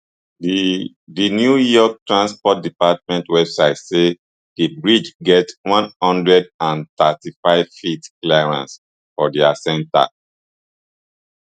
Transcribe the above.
di di new york transport department website say di bridge get one hundred and thirty-fiveft clearance for dia centre